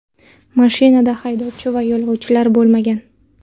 Mashinada haydovchi va yo‘lovchilar bo‘lmagan.